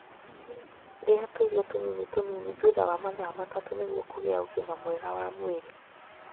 Ria tũirio tũnini tũnini thutha wa mathaa matatu nĩguo kũgĩa ũgima mwega wa mwĩrĩ.